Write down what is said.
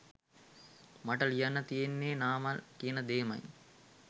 මට ලියන්න තියෙන්නෙත් නාමල් කියන දේමයි.